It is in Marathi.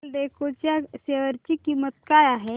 एल्डेको च्या शेअर ची किंमत काय आहे